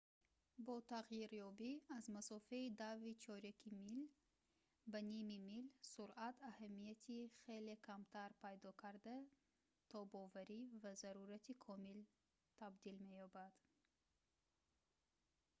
бо тағйирёбӣ аз масофаи дави чоряки мил ба ними мил суръат аҳамияти хеле камтар пайдо карда тобоварӣ ба зарурати комил табдил меёбад